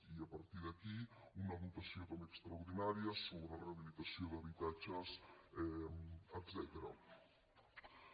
i a partir d’aquí una dotació també extraordinària sobre rehabilitació d’habitatges etcètera